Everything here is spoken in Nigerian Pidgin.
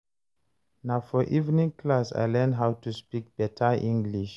Na for evening class I learn how to speak better English